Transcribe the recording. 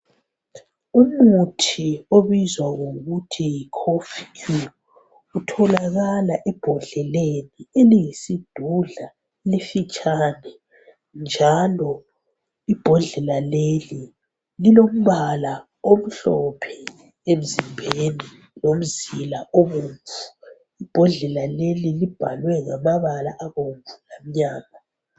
Umuthi obizwa ngokuthi yiKof Cure utholakala embodleleni eyisidudla emfitshane njalo imbodlela leyi ilombala omhlophe emzimbeni lomzila obomvu. Imbodlela leyi ibhalwe ngamabala abomvu lamnyama.